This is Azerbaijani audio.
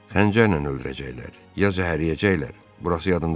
Xəncərlə öldürəcəklər, ya zəhərləyəcəklər, burası yadımda deyil.